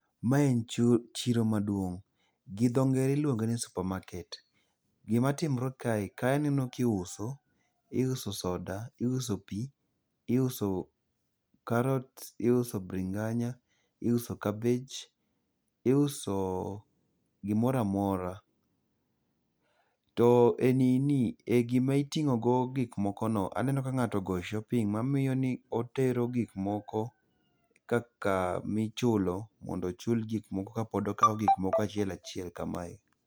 Mae chiro maduong',gi dho ngere iluonge ni supermarket. gima timore kae, kae aneno kiuso, iuso soda, iuso pi, iuso karot, iuso bringanya, iso kabej, iuso gimora mora. to e nini, gima iting'o go gikmoko no, aneno ka ng'ato ogo shopping, mamiyo ni otero gik moko ka kamichulo, mondo ochul gikmoko kapod okawo gik moko achiel achiel kamae.